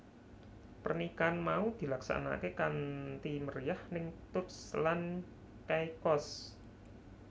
Pernikahan mau dilaksanakaké kanthi meriyah ning Turks lan Caicos